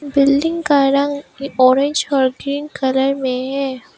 Building का रंग orange और ग्रीन कलर में है।